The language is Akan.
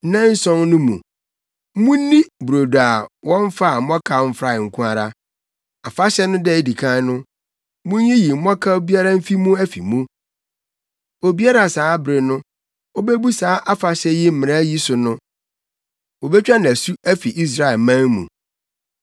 Nnanson no mu, munni brodo a wɔmfaa mmɔkaw mfrae nko ara. Afahyɛ no da a edi kan no, munyiyi mmɔkaw biara mfi mo afi mu. Obiara a saa bere no obebu saa afahyɛ yi mmara yi so no, wobetwa no asu afi Israelman mu.